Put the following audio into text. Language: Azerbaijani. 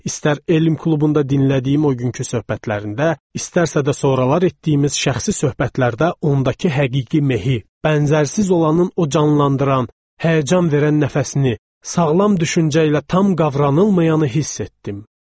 İstər elm klubunda dinlədiyim o günkü söhbətlərində, istərsə də sonralar etdiyimiz şəxsi söhbətlərdə ondakı həqiqi mehi, bənzərsiz olanın o canlandıran, həyəcan verən nəfəsini, sağlam düşüncə ilə tam qavranılmayanı hiss etdim.